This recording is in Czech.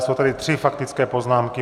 Jsou tady tři faktické poznámky.